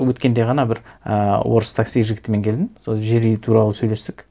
өткенде ғана бір ііі орыс такси жігітімен келдім сол жер үй туралы сөйлестік